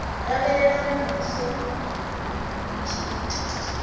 lavhelela muvhuso u tshi ita